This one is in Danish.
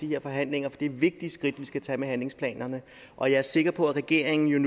her forhandlinger for det er vigtige skridt vi skal tage med handlingsplanerne og jeg er sikker på at regeringen